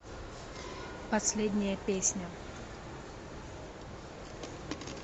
последняя песня